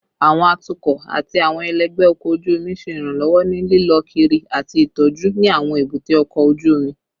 Awọn atukọ ati awọn ẹlẹgbẹ ọkọ oju omi ṣe iranlọwọ ni lilọ kiri ati itọju ni awọn ebute oko oju omi